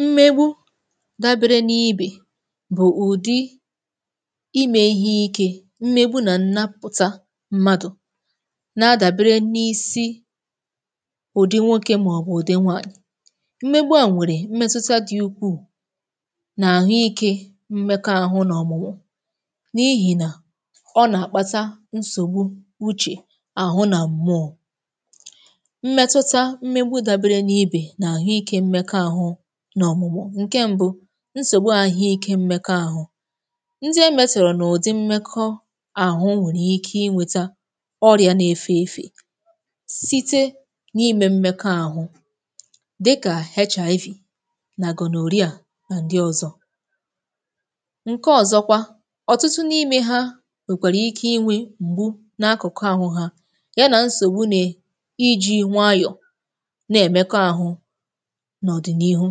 Mmegbu̇ dabere n’ibè bụ̀ ụ̀dị imė ihe ike, mmegbu̇ nà ǹnapụ̀ta mmadụ̀ na-adabere n’isi Ụ̀dị nwokė màọ̀bụ̀ ụ̀dị nwanyị̇, mmegbu̇ a nwèrè mmetụ̀tà dị̇ ukwuu nà àhụike mmekọ àhụ nà ọ̀mụ̀mụ̀, n’ihì nà ọ nà-àkpata nsògbu uche àhụ nà mmụọ, mmetụta mgbegbu dabere n'ibè, nà àhụike mmekọ àhụ nà ọmụ̀mụ̀, ǹke mbu̇ nsògbu àhụike mmekọ àhụ, ndị emetọrọ̀ n’ụ̀dị mmekọ àhụ nwèrè ike inwėtȧ ọrịa na-efè efè, site n’ime mmekọ àhụ dịkà HIV nà Gonorrhea nà ndị ọzọ Ǹke ọ̀zọkwa, ọ̀tụtụ n’imė ha nwèkwàrà ike inwė m̀gbu n’akụ̀kụ àhụ ha, yȧ nà nsògbu nè iji̇ nwayọ̀ na emeko àhụ nà ọdị n'ìhú,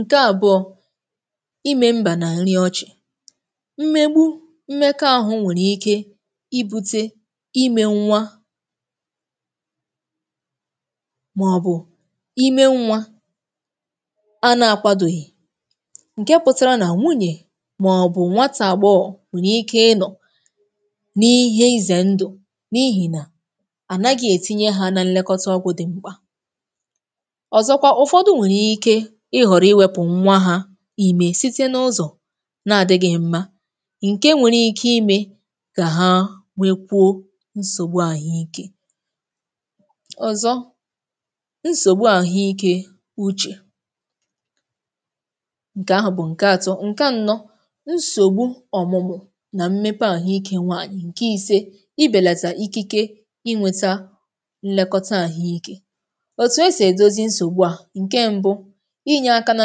ǹke àbụọ̇, imė mbà n’àlị ọchị̀, mmegbu mmekọ àhụ nwèrè ike ibute ime nwa màọ̀bụ̀ ime nwa a na-akwadòghì, ǹke pụtara nà nwunyè màọ̀bụ̀ nwatà agboho nwèrè ike ịnọ̀ n’ihe izè ndụ̀ n’ihì nà à naghị̀ ètinye ha nà nlekọta ọgwụ̇ dị̀ mkpa. Ọzọkwa, ofodu nwere ike ihọrọ iwepu nwa ha ime site n’ụzọ̀ na-adì̇ghị̇ mma, ǹke nwere ike imė kà ha wee kwuo nsògbu àhụikė Ọ̀zọ, nsògbu àhụikė ụchè ǹkè ahụ̀ bụ̀ ǹke atọ, ǹke anọ, nsògbu ọ̀mụ̀mụ̀ nà mmepe àhụikė nwaanyị̀, ǹke ise, ịbèlàtà ikike inwėtȧ nlekọta àhụikė. Otu esi edozi nsogbu a: ǹke mbu̇, inye aka na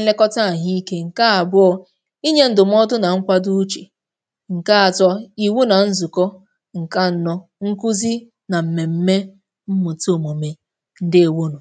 nlekọta àhụike; ǹke àbụọ̇, inyė ndụ̀mọ̀dụ nà nkwado uche; ǹke atọ, ị̀wu nà nzụ̀kọ; ǹke anọ, nkụzi nà m̀mèm̀me mmụ̀ta òmùme. Ǹdeewonu.